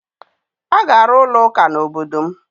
A ga-arụ ụlọụka n'obodo m